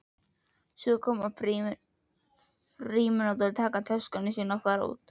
Og svo koma frímínútur, taka töskuna sína og fara út.